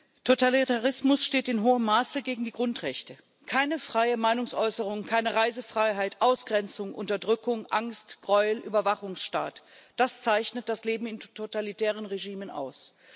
Herr Präsident! Totalitarismus steht in hohem Maße gegen die Grundrechte. Keine freie Meinungsäußerung, keine Reisefreiheit, Ausgrenzung, Unterdrückung, Angst, Gräuel, Überwachungsstaat das zeichnet das Leben in totalitären Regimen aus.